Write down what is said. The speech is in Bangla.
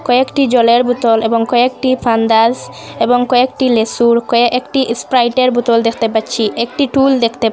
কয়েকটি জলের বোতল এবং কয়েকটি ফান্ডাস এবং কয়েকটি লেসুর কয়েকটি এস্প্রাইটের বোতল দেখতে পাচ্ছি একটি টুল দেখতে পা--